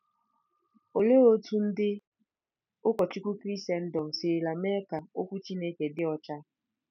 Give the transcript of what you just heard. Olee otú ndị ụkọchukwu Krisendọm sirila mee ka Okwu Chineke dị ọcha?